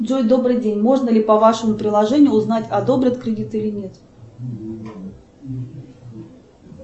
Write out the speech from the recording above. джой добрый день можно ли по вашему приложению узнать одобрят кредит или нет